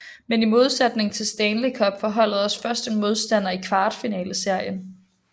Men i modsætning til Stanley Cup får holdet også først en modstander i kvartfinaleserien